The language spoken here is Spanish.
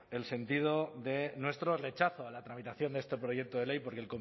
el sentido de nuestro rechazo a la tramitación de este proyecto de ley porque